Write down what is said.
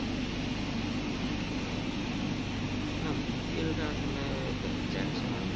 নাহ BPL টা আসলে দেখা হয় না